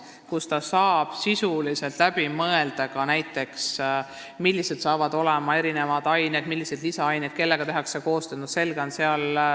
Direktor saab sisuliselt läbi mõelda ka selle, millised hakkavad olema õppeained, millised valikained ja kellega tehakse koostööd.